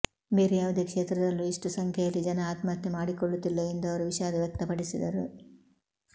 ಬೇರೆ ಯಾವುದೇ ಕ್ಷೇತ್ರದಲ್ಲೂ ಇಷ್ಟು ಸಂಖ್ಯೆಯಲ್ಲಿ ಜನ ಆತ್ಮಹತ್ಯೆ ಮಾಡಿಕೊಳ್ಳುತ್ತಿಲ್ಲ ಎಂದು ಅವರು ವಿಷಾಧ ವ್ಯಕ್ತಪಡಿಸಿದರು